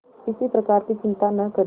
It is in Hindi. किसी प्रकार की चिंता न करें